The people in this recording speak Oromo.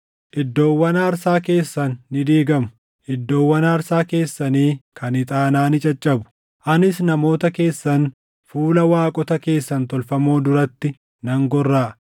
Iddoowwan aarsaa keessan ni diigamu; iddoowwan aarsaa keessanii kan ixaanaa ni caccabu; anis namoota keessan fuula waaqota keessan tolfamoo duratti nan gorraʼa.